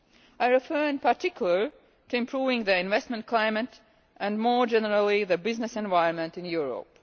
I refer in particular to improving the investment climate and, more generally, the business environment in Europe.